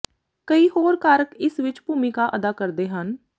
ਕਈ ਹੋਰ ਕਾਰਕ ਇਸ ਵਿਚ ਭੂਮਿਕਾ ਅਦਾ ਕਰਦੇ ਹਨ